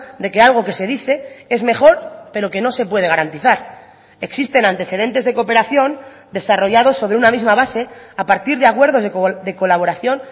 de que algo que se dice es mejor pero que no se puede garantizar existen antecedentes de cooperación desarrollados sobre una misma base a partir de acuerdos de colaboración